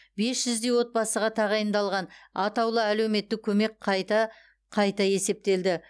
бес жүздей отбасыға тағайындалған атаулы әлеуметтік көмек қайта қайта есептелді